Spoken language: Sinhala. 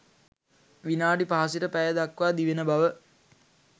විනාඩි 5 සිට පැය දක්වා දිවෙන බව